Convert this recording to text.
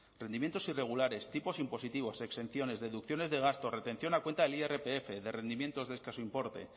rendimientos irregulares tipos impositivos exenciones deducciones de gastos retención a cuenta del irpf de rendimientos de escaso importe